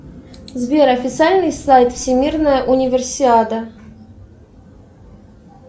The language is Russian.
сбер официальный сайт всемирная универсиада